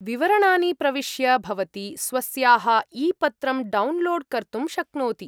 विवरणानि प्रविष्य भवती स्वस्याः ईपत्रं डौन्लोड् कर्तुं शक्नोति।